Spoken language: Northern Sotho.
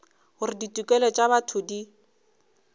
gore ditokelo tša botho di